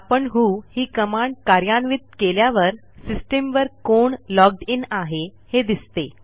आपण व्हो ही कमांड कार्यान्वित केल्यावर सिस्टीम वर कोण लॉग्ड इन आहे हे दिसते